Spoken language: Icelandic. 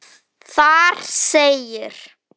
Þar segir: